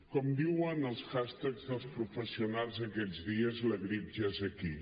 com diuen els hashtags dels professionals aquests dies la grip ja és aquí